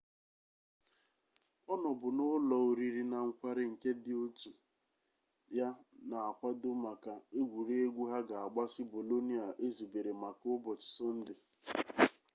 ọ nọbu n'ụlọ oriri na nkwari nke ndị otu ya na-akwado maka egwuregwu ha ga-agbasị bolonia ezubere maka ụbọchị sọnde